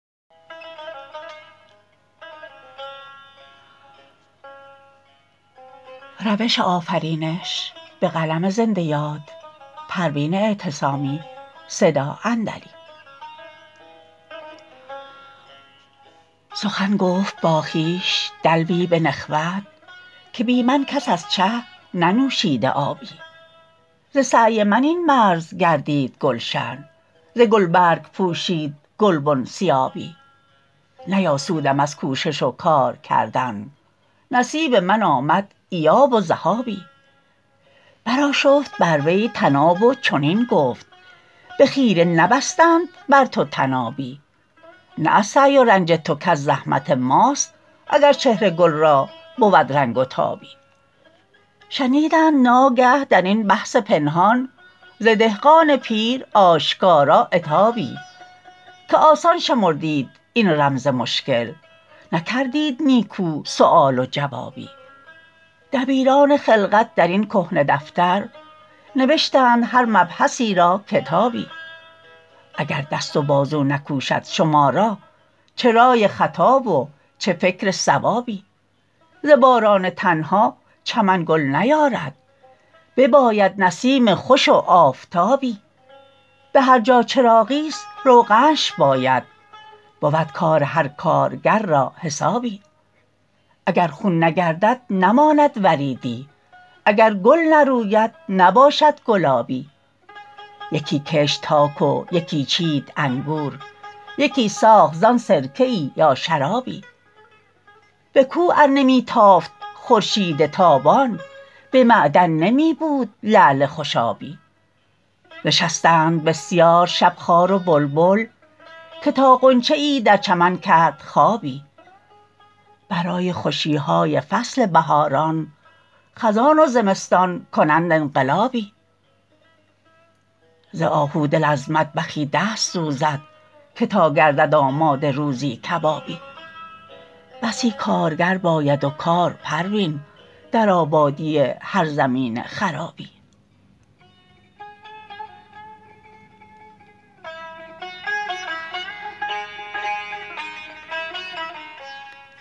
سخن گفت با خویش دلوی بنخوت که بی من کس از چه ننوشیده آبی ز سعی من این مرز گردید گلشن ز گلبرگ پوشید گلبن ثیابی نیاسودم از کوشش و کار کردن نصیب من آمد ایاب و ذهابی برآشفت بر وی طناب و چنین گفت به خیره نبستند بر تو طنابی نه از سعی و رنج تو کز زحمت ماست اگر چهر گل را بود رنگ و تابی شنیدند ناگه درین بحث پنهان ز دهقان پیر آشکارا عتابی که آسان شمردید این رمز مشکل نکردید نیکو سؤال و جوابی دبیران خلقت درین کهنه دفتر نوشتند هر مبحثی را کتابی اگر دست و بازو نکوشد شما را چه رای خطا و چه فکر صوابی ز باران تنها چمن گل نیارد بباید نسیم خوش و آفتابی بهر جا چراغی است روغنش باید بود کار هر کارگر را حسابی اگر خون نگردد نماند وریدی اگر گل نروید نباشد گلابی یکی کشت تاک و یکی چید انگور یکی ساخت زان سرکه ای یا شرابی بکوه ار نمیتافت خورشید تابان بمعدن نمیبود لعل خوشابی نشستند بسیار شب خار و بلبل که تا غنچه ای در چمن کرد خوابی برای خوشیهای فصل بهاران خزان و زمستان کنند انقلابی ز آهو دل از مطبخی دست سوزد که تا گردد آماده روزی کبابی بسی کارگر باید و کار پروین در آبادی هر زمین خرابی